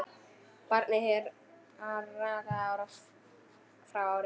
Barninu hrakaði ár frá ári.